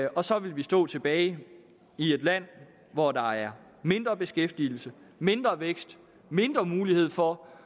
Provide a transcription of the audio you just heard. og så vil vi stå tilbage i et land hvor der er mindre beskæftigelse mindre vækst og mindre mulighed for